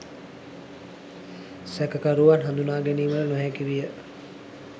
සැකකරුවත් හඳුනාගැනීමට නොහැකි විය.